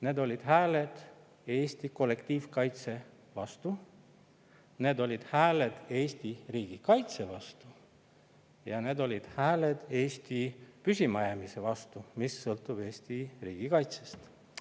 Need olid hääled Eesti kollektiivkaitse vastu, need olid hääled Eesti riigi kaitse vastu ja need olid hääled Eesti püsimajäämise vastu, mis sõltub Eesti riigi kaitsest.